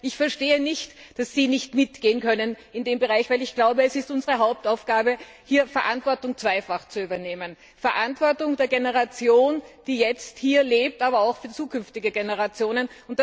Das heißt, ich verstehe nicht, dass sie nicht mitgehen können in diesem Bereich, denn ich glaube, es ist unsere Hauptaufgabe, hier zweifach Verantwortung zu übernehmen Verantwortung für die Generation, die jetzt hier lebt, aber auch für zukünftige Generationen.